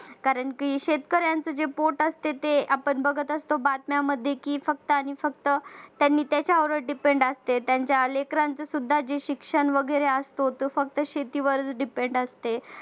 कारण की शेतकऱ्यांच् जे पोट असते ते आपण बघत असतो बातम्यांमध्ये की फक्त आणि फक्त त्याने त्याच्यावर depend असते त्यांच्या लेकरांचे सुद्धा जे शिक्षण वगैरे असतो ते फक्त शेतीवर depend असते